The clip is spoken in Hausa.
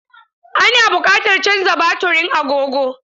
Ana buƙatar canza baturin agogo.